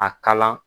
A kala